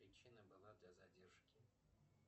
причина была до задержки